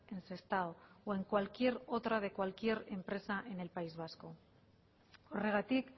en sestao o en cualquier otra de cualquier empresa en el país vasco horregatik